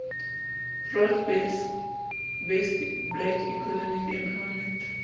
broad based black economic empowerment